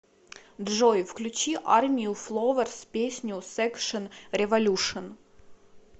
джой включи армию фловерс песню секшн революшн